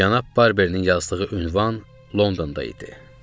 Cənab Barbernin yazdığı ünvan Londonda idi.